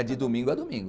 É de domingo a domingo.